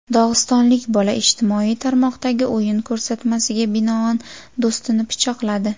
Dog‘istonlik bola ijtimoiy tarmoqdagi o‘yin ko‘rsatmasiga binoan do‘stini pichoqladi.